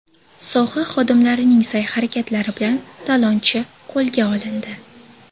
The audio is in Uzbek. Soha xodimlarining sa’y-harakatlari bilan talonchi qo‘lga olindi.